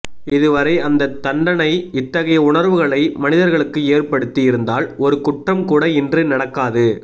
இது வரை அந்த தண்டனை இத்தகைய உணர்வுகளை மனிதர்களுக்கு ஏற்படுத்தி இருந்தால் ஒரு குற்றம் கூட இன்று நடக்காது